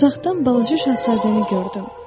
uzaqdan balaca şahzadəni gördüm.